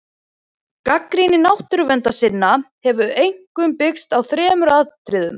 Gagnrýni náttúruverndarsinna hefur einkum byggst á þremur atriðum.